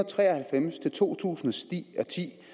tre og halvfems til to tusind steg